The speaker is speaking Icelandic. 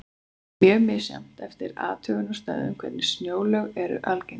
Mjög er misjafnt eftir athugunarstöðvum hvernig snjóalög eru algengust.